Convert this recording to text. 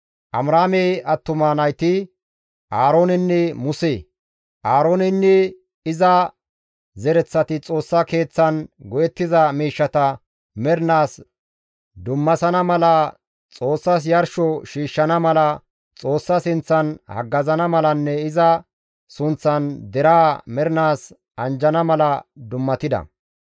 Amiraame attuma nayti Aaroonenne Muse; Aarooneynne iza zereththati Xoossa Keeththan go7ettiza miishshata mernaas dummasana mala, Xoossas yarsho shiishshana mala, Xoossa sinththan haggazana malanne iza sunththan deraa mernaas anjjana mala dummatida.